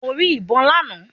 Mo rí ìbọn lánàá.